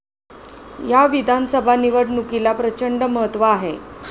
या विधानसभा निवडणुकीला प्रचंड महत्त्व आहे.